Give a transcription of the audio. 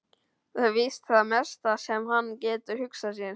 Það er víst það mesta sem hann getur hugsað sér.